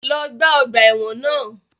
Lọ gbá ọgbà ẹ̀wọ̀n náà!